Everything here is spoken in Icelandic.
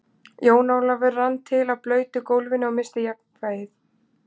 Jón Ólafur rann til á blautu gólfinu og missti jafnvlgið.